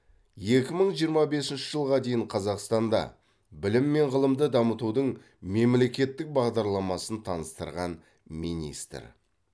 екі мың жиырма бесінші жылға дейін қазақстанда білім мен ғылымды дамытудың мемлекеттік бағдарламасын таныстырған министр